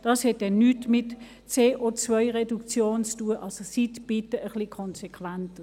Das hat nichts mit CO-Reduktion zu tun.